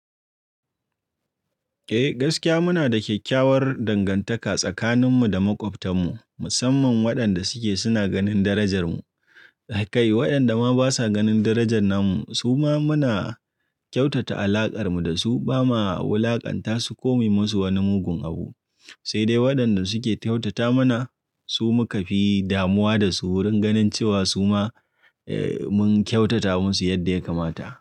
Eh gaskiya muna da kyakkyawar dangantaka tsakaninmu da maƙwabtanmu musamman waɗanda suke suna ganin darajar mu. A kai waɗanda ma basa ganin darajan namu su ma muna kyautata alaƙar mu da su bama wulakanta su komai musu wani mugun abu. Sai dai waɗanda suke kyautata mana su muka fi damuwa da su wurin ganin cewa su ma eh mun kyautata musu yadda ya kamata.